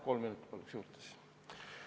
Kolm minutit palun juurde!